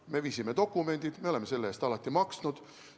Me esitasime dokumendid, et me oleme selle eest alati maksnud.